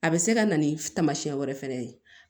A bɛ se ka na ni taamasiyɛn wɛrɛ fɛnɛ ye